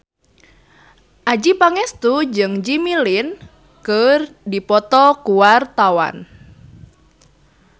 Adjie Pangestu jeung Jimmy Lin keur dipoto ku wartawan